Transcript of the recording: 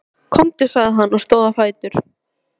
Komdu, sagði hann og stóð á fætur.